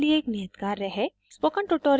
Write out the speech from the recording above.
यहाँ आपके लिए एक नियत कार्य है